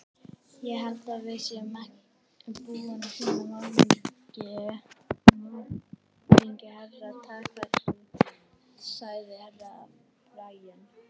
Ég held að við séum búin að finna morðingju Herra Takashi, sagði Herra Brian.